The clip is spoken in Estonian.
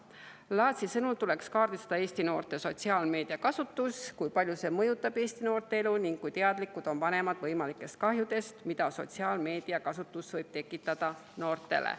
Laatsi sõnul tuleks kaardistada Eesti noorte sotsiaalmeediakasutus, kui palju see mõjutab Eesti noorte elu ning kui teadlikud on vanemad võimalikest kahjudest, mida sotsiaalmeediakasutus võib noortele tekitada.